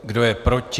Kdo je proti?